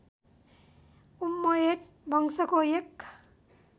उम्मयद वंशको एक